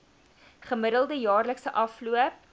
gemiddelde jaarlikse afloop